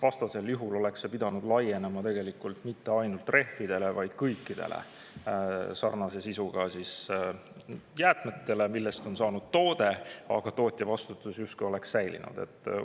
Vastasel juhul oleks see pidanud laienema mitte ainult rehvidele, vaid kõikidele sarnase sisuga jäätmetele, millest on saanud toode, et tootjavastutus justkui oleks pidanud säilima.